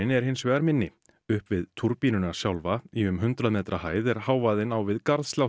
er hins vegar minni upp við túrbínuna sjálfa í um hundrað metra hæð er hávaðinn á við